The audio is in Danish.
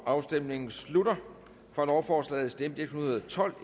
afstemningen slutter for lovforslaget stemte en hundrede og tolv